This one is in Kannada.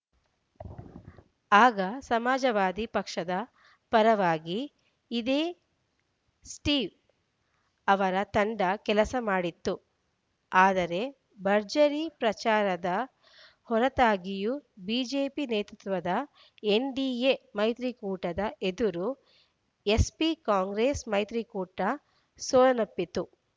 ಆಗ ಸಮಾಜವಾದಿ ಪಕ್ಷದ ಪರವಾಗಿ ಇದೇ ಸ್ಟೀವ್‌ ಅವರ ತಂಡ ಕೆಲಸ ಮಾಡಿತ್ತು ಆದರೆ ಭರ್ಜರಿ ಪ್ರಚಾರದ ಹೊರತಾಗಿಯೂ ಬಿಜೆಪಿ ನೇತೃತ್ವದ ಎನ್‌ಡಿಎ ಮೈತ್ರಿಕೂಟದ ಎದುರು ಎಸ್‌ಪಿ ಕಾಂಗ್ರೆಸ್‌ ಮೈತ್ರಿಕೂಟ ಸೋಲನ್ನಪ್ಪಿತ್ತು